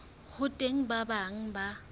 ho teng ba bang ba